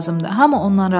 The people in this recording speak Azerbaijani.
Hamı onunla razılaşdı.